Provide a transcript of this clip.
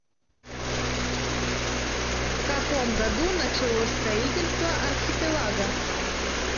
в каком году началось строительство архипелага